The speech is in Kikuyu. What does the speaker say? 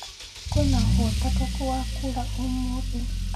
kwĩnaũhotekekũ wa kũura umuthi